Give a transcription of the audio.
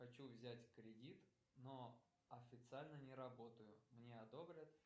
хочу взять кредит но официально не работаю мне одобрят